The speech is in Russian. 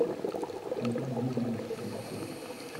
антон юрьевич щербаков